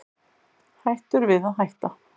Hættur við að hætta